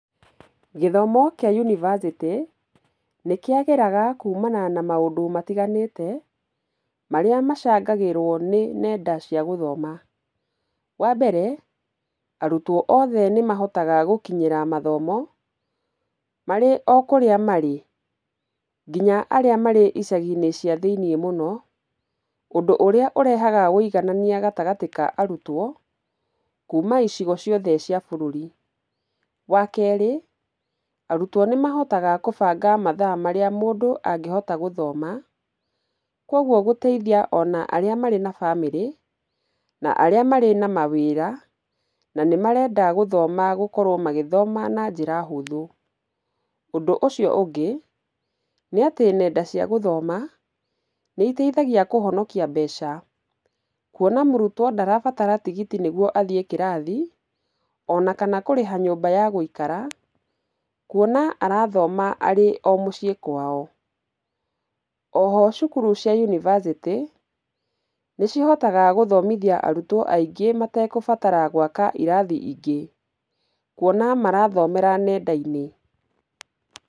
Gĩthomo kĩa yunivasĩtĩ nĩkĩagĩraga kumana na maũndũ matiganĩte, marĩa macangagĩrwo nĩ nenda cia gũthoma. Wa mbere, arutwo othe nĩmahotaga gũkinyĩra mathomo, marĩ o kũrĩa marĩ, nginya arĩa marĩ icagi-inĩ cia thĩini mũno, ũndũ ũrĩa ũrehaga ũiganania gatagatĩ ka arutwo, kuma icigo ciothe cia bũrũri. Wa kerĩ, arutwo nĩmahotaga kũbanga mathaa marĩa mũndũ angĩhota gũthoma, kogwo gũteithia ona arĩa marĩ na bamĩrĩ, na arĩa marĩ na mawĩra na nĩ marenda gũthoma gũkorwo magĩthoma na njĩra hũthũ. Ũndũ ũcio ũngĩ, nĩ atĩ nenda cia gũthoma, nĩiteithagia kũhonokia mbeca kwona mũrutũo ndarabatara tigiti nĩguo athiĩ kĩrathi, ona kana kũrĩha nyũmba ya gũikara kũona arathoma arĩ o muciĩ kwao. Oho cukuru cia yunivasĩtĩ, nĩcihotaga gũthomithia arutwo aingĩ mategũbatara gwaka irathi ingĩ, kwona marathomera nenda-inĩ.